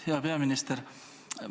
Hea peaminister!